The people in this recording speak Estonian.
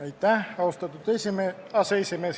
Aitäh, austatud aseesimees!